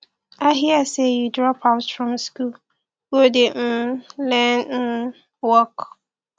i hear say you drop out from school go dey um learn um work